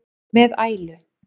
með ælu.